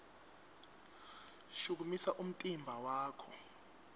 shukumisa umtimba wakho